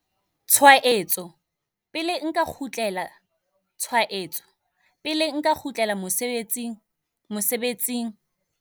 tshwaetso, pele nka kgutlela tshwaetso, pele nka kgutlela mosebetsing?mosebetsing?